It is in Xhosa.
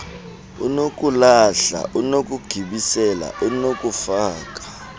unokulahla unokugibisela unokufaka